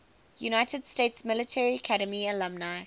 united states military academy alumni